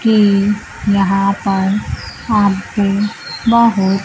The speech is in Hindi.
कि यहां पर आपको बहोत--